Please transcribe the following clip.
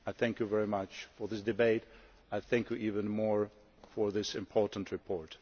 I thank you very much for this debate, and I thank you even more for this important report.